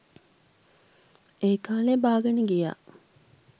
ඒකාලේ බාගෙන ගියා